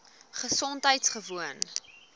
gesondheidgewoon